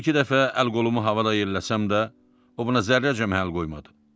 Bir-iki dəfə əl-qolumu havada yelləsəm də, o buna zərrəcə məhəl qoymadı.